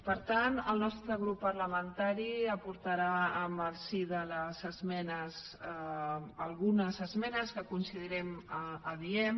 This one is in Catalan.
per tant el nostre grup parlamentari aportarà en el si de les esmenes algunes esmenes que considerem adients